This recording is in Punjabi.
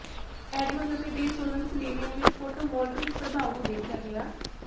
ਐਡਮਜ਼ ਅਤੇ ਡੇ ਸੋਲਨ ਸਿਲੇਨਿਅਮ ਵਿੱਚ ਫੋਟੋਵੋਲਟਿਕ ਪ੍ਰਭਾਵ ਨੂੰ ਦੇਖਿਆ ਗਿਆ